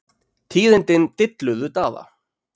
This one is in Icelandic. Tíðindin dilluðu Daða.